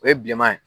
O ye bilenman ye